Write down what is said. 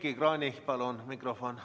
Heiki Kranichile palun mikrofon!